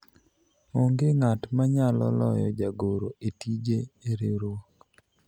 onge ng'at manyalo loyo jagoro e tije e riwruok